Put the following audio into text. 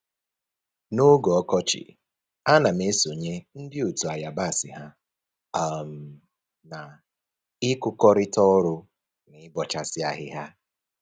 N'oge ọkọchị, a na m esonye ndị otu ayabasị ha um na-ịkụkọrịta ọrụ na ịbọchasị ahịhịa